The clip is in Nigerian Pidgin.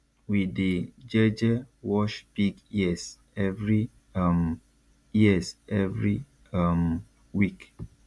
we dey jeje wash pig ears every um ears every um week